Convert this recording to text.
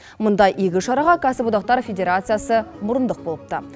мұндай игі шараға кәсіподақтар федерациясы мұрындық болыпты